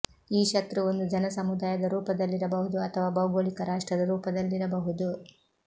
ಈ ಶತ್ರು ಒಂದು ಜನಸಮುದಾಯದ ರೂಪದಲ್ಲಿರಬಹುದು ಅಥವಾ ಭೌಗೋಳಿಕ ರಾಷ್ಟ್ರದ ರೂಪದಲ್ಲಿರಬಹುದು